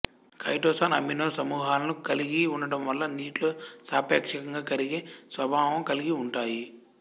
chitosan amino సమూహాలను కలిగి ఉండడం వల్ల నీటిలో సాపేక్షంగా కరిగే స్వభావం కలిగి ఉంటాయి